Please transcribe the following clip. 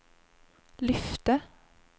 lyfte